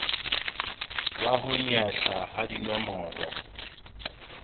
wa ho nyehla ha dinomoro